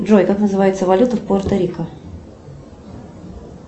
джой как называется валюта в пуэрто рико